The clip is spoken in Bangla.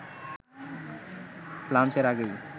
লাঞ্চের আগেই